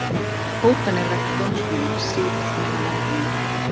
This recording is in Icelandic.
Hótanir vegna dómsmála sífellt meira vandamál